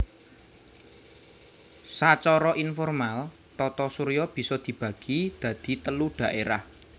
Sacara informal Tata Surya bisa dibagi dadi telu dhaérah